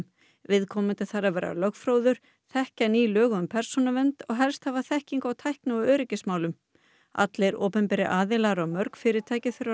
viðkomandi þarf að vera lögfróður þekkja ný lög um persónuvernd og helst hafa þekkingu á tækni og öryggismálum allir opinberir aðilar og mörg fyrirtæki þurfa að